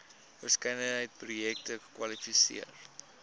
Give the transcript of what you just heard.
verskeidenheid projekte kwalifiseer